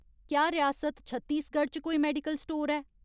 क्या रियासत छत्तीसगढ च कोई मेडिकल स्टोर ऐ ?